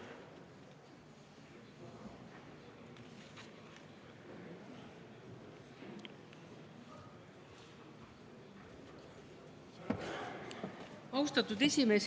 Austatud esimees!